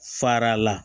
Fara la